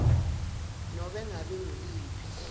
nobe ngabe nguluphi